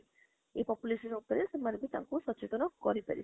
ଏଇ population ଉପରେ ସେମାନେ ବି ତାଙ୍କୁ ସଚେତନ କରି ପାରିବେ